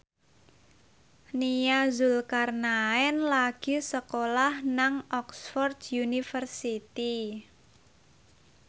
Nia Zulkarnaen lagi sekolah nang Oxford university